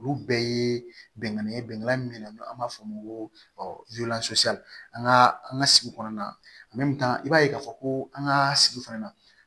Olu bɛɛ ye bɛnkan ye bɛnkan min bɛ yen nɔ an b'a fɔ o ma ko an ka an ka sigi kɔnɔna na i b'a ye k'a fɔ ko an ka sigi fana na